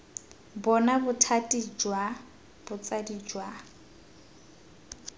bona bothati jwa botsadi jwa